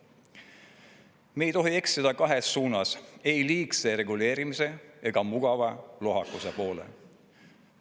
Me ei tohi eksida kahes suunas: ei liigse reguleerimise ega mugava lohakuse poole.